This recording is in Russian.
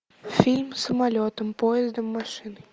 фильм самолетом поездом машиной